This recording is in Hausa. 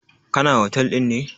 Kana. hotel ɗin ne?